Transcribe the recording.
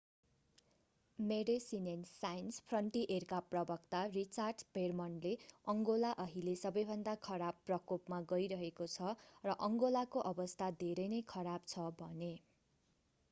Médecins sans फ्रन्टियरेका प्रवक्ता Richard भेर्मनले अङ्गोला अहिले सबैभन्दा खराब प्रकोपमा गइरहेको छ र अङ्गोलाको अवस्था धेरै नै खराब छ भने